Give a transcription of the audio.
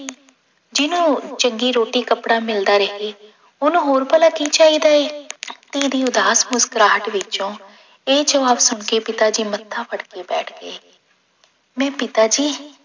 ਜਿਹਨੂੰ ਚੰਗੀ ਰੋਟੀ ਕੱਪੜਾ ਮਿਲਦਾ ਰਹੇ ਉਹਨੂੰ ਹੋਰ ਭਲਾ ਕੀ ਚਾਹੀਦਾ ਹੈ ਧੀ ਦੀ ਉਦਾਸ ਮੁਸਕਰਾਹਟ ਵਿੱਚੋਂ ਇਹ ਜਵਾਬ ਸੁਣਕੇ ਪਿਤਾ ਜੀ ਮੱਥਾ ਫੜਕੇ ਬੈਠ ਗਏ ਮੈਂ ਪਿਤਾ ਜੀ